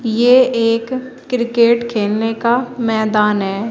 ये एक क्रिकेट खेलने का मैदान है।